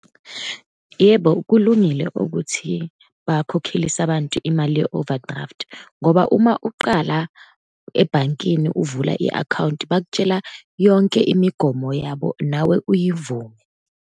Yebo, kulungile ukuthi bakhokhelise abantu imali ye-overdraft, ngoba uma uqala ebhankini ukuvula i-akhawunti, bakutshela yonke imigomo yabo, nawe uyivume.